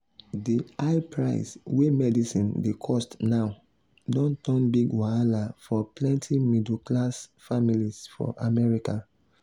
the high price wey medicine dey cost now don turn big wahala for plenty middle class families for america.